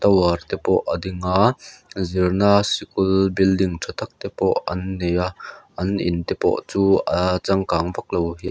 te pawh a ding aa zirna sikul building tha tak te pawh an nei a an in te pawh chu aa changkang vak lo--